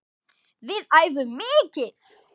Við æfum mikið.